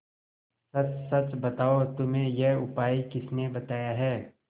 सच सच बताओ तुम्हें यह उपाय किसने बताया है